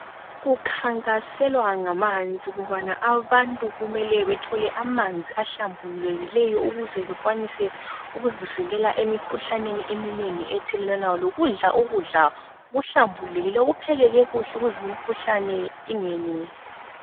Kukhankaselwa ngamanzi ukubana abantu kumele bathole amanzi ahlambulukileyo ukuze bekwanise ukuzivikela emikhuhlaneni eminengi ethelelwanayo lokudla ukudla okuhlambulukileyo, okuphekeke kuhle ukuze imikhuhlane ingeneli.